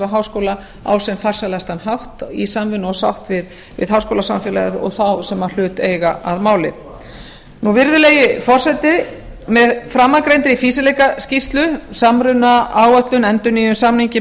háskóla á sem farsælastan hátt í samvinnu og sátt við háskólasamfélagið og þá sem hlut eiga að máli virðulegi forseti með framangreindri fýsileikaskýrslu samrunaáætlun endurnýjun samninga